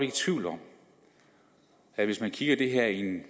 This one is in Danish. i tvivl om at hvis man ser det her i en